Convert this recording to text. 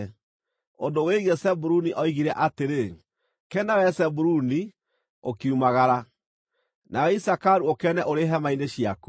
Ũndũ wĩgiĩ Zebuluni oigire atĩrĩ: “Kena, wee Zebuluni, ũkiumagara, nawe Isakaru ũkene ũrĩ hema-inĩ ciaku.